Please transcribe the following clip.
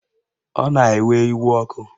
Ọ na-ewe iwe ọkụ